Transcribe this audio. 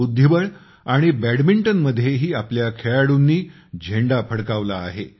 बुद्धिबळ आणि बॅडमिंटनमध्येही आपल्या खेळाडूंनी झेंडा फडकावला आहे